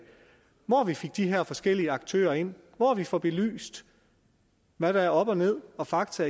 hvor vi får de her forskellige aktører ind og hvor vi får belyst hvad der er op og ned og fakta